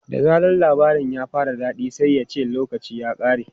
Da zaran labarin ya fara daɗi sai ya ce 'lokaci ya ƙare!'